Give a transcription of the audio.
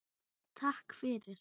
Takk fyrir!